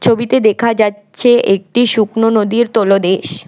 ছবিতে দেখা যাচ্ছে একটি শুকনো নদীর তলদেশ।